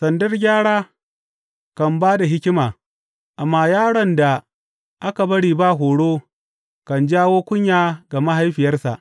Sandar gyara kan ba da hikima, amma yaron da aka bari ba horo kan jawo kunya ga mahaifiyarsa.